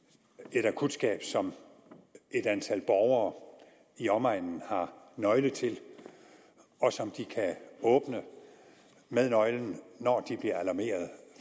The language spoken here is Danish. et akutskab som et antal borgere i omegnen har nøgle til og som de kan åbne med nøglen når de bliver alarmeret